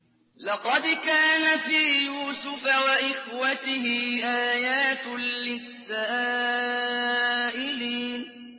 ۞ لَّقَدْ كَانَ فِي يُوسُفَ وَإِخْوَتِهِ آيَاتٌ لِّلسَّائِلِينَ